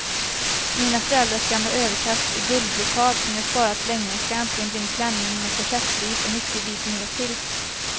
Mina föräldrars gamla överkast i guldbrokad som jag sparat länge ska äntligen bli en klänning med korsettliv och mycket vidd nertill.